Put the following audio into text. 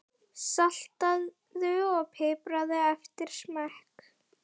Saltaðu og pipraðu eftir smekk.